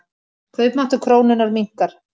Kaupmáttur krónunnar minnkar.